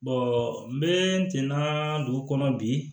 n bɛ tenna dugu kɔnɔ bi